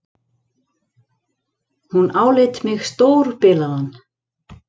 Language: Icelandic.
Hún áleit mig stórbilaðan.